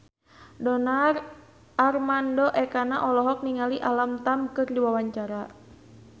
Donar Armando Ekana olohok ningali Alam Tam keur diwawancara